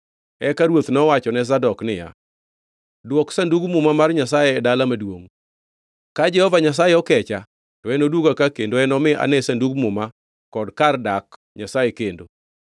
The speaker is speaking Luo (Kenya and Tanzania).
Eka ruoth nowachone Zadok niya, “Dwok Sandug Muma mar Nyasaye e dala maduongʼ. Ka Jehova Nyasaye okecha, to enoduoga ka kendo enomi ane Sandug Muma kod kar dak Nyasaye kendo.